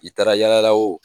I taara yala la o